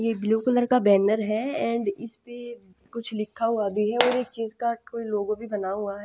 ये blue colour का banner है एंड कुछ लिखा हुआ भी है एक चीज का कोई लोगो बना हुआ है।